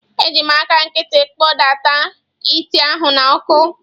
Eji m aka nkịtị kpọdata ite ahụ n’ọkụ.